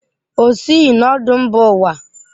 O sighị na ọdụ mba ụwa.